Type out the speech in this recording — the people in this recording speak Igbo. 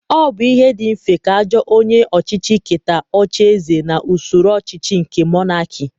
Ọ bụ ihe dị mfe ka ajọ onye ọchịchị iketa ocheeze na usoro ọchịchị nke Monakị